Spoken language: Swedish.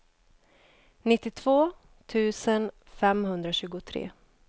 nittiotvå tusen femhundratjugotre